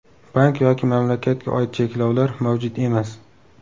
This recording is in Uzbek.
Bank yoki mamlakatga oid cheklovlar mavjud emas.